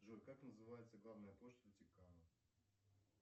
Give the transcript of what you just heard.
джой как называется главная площадь ватикана